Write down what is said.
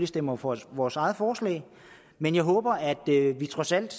stemmer for vores eget forslag men jeg håber at vi trods alt